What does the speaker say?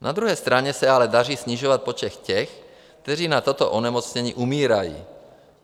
Na druhé straně se ale daří snižovat počet těch, kteří na tato onemocnění umírají.